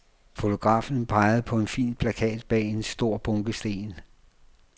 Fotografen pegede på en fin plakat bag en stor bunke sten.